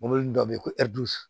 Mɔbili dɔ be yen ko